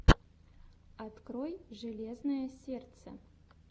открой железное сердце